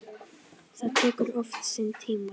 Það tekur oft sinn tíma.